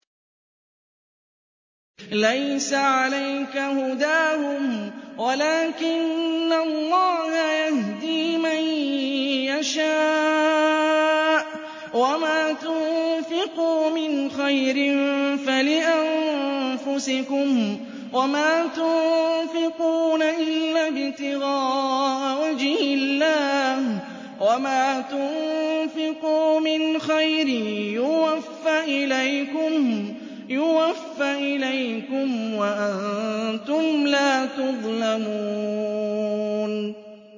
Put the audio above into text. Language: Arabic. ۞ لَّيْسَ عَلَيْكَ هُدَاهُمْ وَلَٰكِنَّ اللَّهَ يَهْدِي مَن يَشَاءُ ۗ وَمَا تُنفِقُوا مِنْ خَيْرٍ فَلِأَنفُسِكُمْ ۚ وَمَا تُنفِقُونَ إِلَّا ابْتِغَاءَ وَجْهِ اللَّهِ ۚ وَمَا تُنفِقُوا مِنْ خَيْرٍ يُوَفَّ إِلَيْكُمْ وَأَنتُمْ لَا تُظْلَمُونَ